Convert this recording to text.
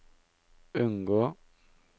unngå